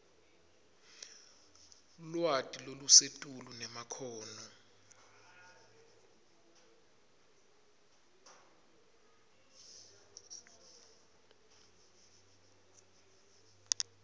lwati lolusetulu nemakhono